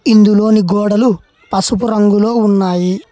ఇందులో గోడలు పసుపు రంగులో ఉన్నాయి.